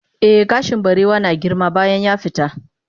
eh gashin barewa na girma bayan yafita